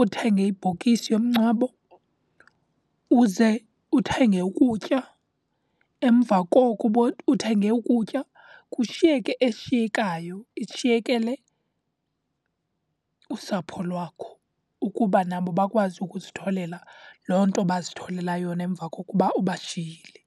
uthenge ibhokisi yomngcwabo, uze uthenge ukutya. Emva koko uthenge ukutya, kushiyeke eshiyekayo ishiyekele usapho lwakho ukuba nabo bakwazi ukuzitholela loo nto bazitholela yona emva kokuba ubashiyile.